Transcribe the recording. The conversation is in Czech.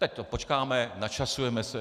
Tak to počkáme, načasujeme se.